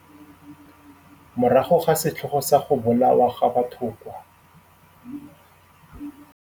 Morago ga setlhogo sa go bolawa ga batho kwa